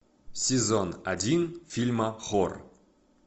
сезон один фильма хор